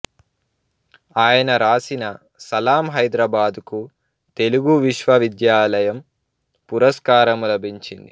ఆయన వ్రాసిన సలాం హైద్రాబాద్కు తెలుగు విశ్వవిద్యాలయం పురస్కారం లభించింది